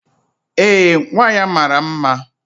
Ee, nwa ya mara mma